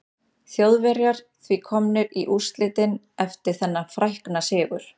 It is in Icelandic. Þjóðverjar því komnir í úrslitin eftir þennan frækna sigur.